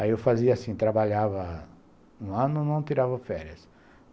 Aí eu fazia assim, trabalhava um ano, não tirava férias.